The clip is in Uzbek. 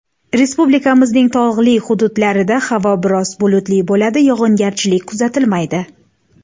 Respublikamizning tog‘li hududlarida havo biroz bulutli bo‘ladi, yog‘ingarchilik kuzatilmaydi.